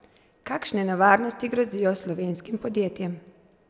Kakšne nevarnosti grozijo slovenskim podjetjem?